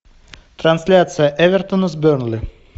трансляция эвертона с бернли